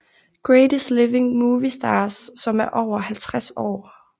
Greatest Living Movie Stars som er over 50 år